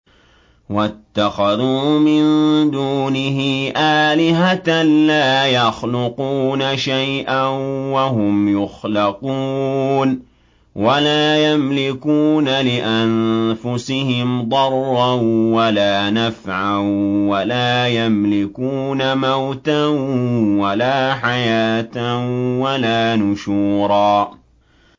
وَاتَّخَذُوا مِن دُونِهِ آلِهَةً لَّا يَخْلُقُونَ شَيْئًا وَهُمْ يُخْلَقُونَ وَلَا يَمْلِكُونَ لِأَنفُسِهِمْ ضَرًّا وَلَا نَفْعًا وَلَا يَمْلِكُونَ مَوْتًا وَلَا حَيَاةً وَلَا نُشُورًا